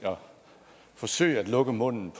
forsøge at lukke munden